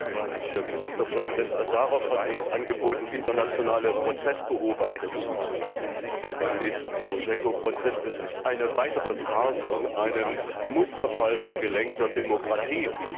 Der ukrainische Ministerpräsident Asarow hat uns angeboten, internationale Prozessbeobachter beim nächsten Timoschenko Prozess zuzulassen. Das ist eine weitere Farce in einem Musterfall von gelenkter Demokratie.